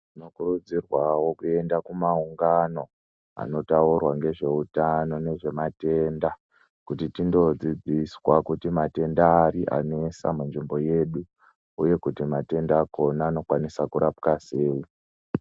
Tinokurudzirwawo kuenda kumaungani anotaurwawo ngezvematenda kuti tindodzidziswa kuti matenda ari anesa munzvimbo yedu uye kuti matenda akona anokwanisa kurapwa sei.